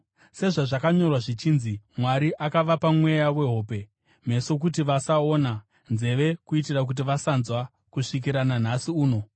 sezvazvakanyorwa zvichinzi: “Mwari akavapa mweya wehope, meso kuti vasaona, nzeve kuitira kuti vasanzwa, kusvikira nanhasi uno.”